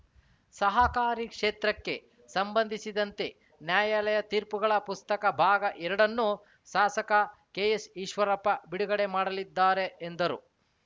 ಸಹಕಾರಿ ಕ್ಷೇತ್ರಕ್ಕೆ ಸಂಬಂಧಿಸಿದಂತೆ ನ್ಯಾಯಾಲಯ ತೀರ್ಪುಗಳ ಪುಸ್ತಕ ಭಾಗಎರಡನ್ನು ಶಾಸಕ ಕೆಎಸ್‌ ಈಶ್ವರಪ್ಪ ಬಿಡುಗಡೆ ಮಾಡಲಿದ್ದಾರೆ ಎಂದರು